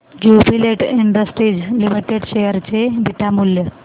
Jubilant industries limited share चे beta मूल्य